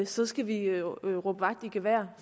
så skal vi råbe vagt i gevær